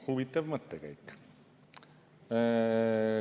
Huvitav mõttekäik.